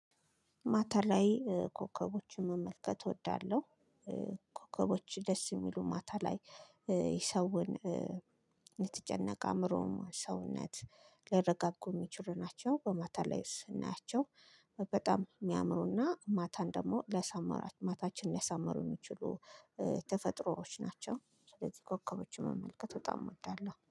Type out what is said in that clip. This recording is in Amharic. ማታ ላይ ኮከቦችን መመልከት እወዳለሁ። ኮከቦች ደስ የሚሉ ማታ ላይ የሰውን የተጨነቀ አእምሮውን ሰውነት ሊያረጋጉ የሚችሉ ናቸው። በማታ ላይ ስናያቸው በጣም የሚያምሩና ማታን ደግሞ ለሰማራችሁ ማታችንን ሊያሳምሩ የሚችሉ ተፈጥሮዎች ናቸው። ስለዚህ ኮከቦችን መመልከት በጣም እወዳለሁ